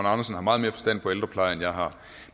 andersen har meget mere forstand på ældrepleje end jeg har